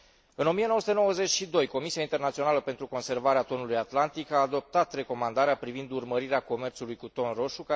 În 1992, Comisia Internațională pentru Conservarea Tonului din Oceanul Atlantic a adoptat recomandarea privind urmărirea comerțului cu ton roșu.